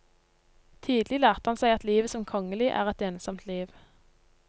Tidlig lærte han seg at livet som kongelig er et ensomt liv.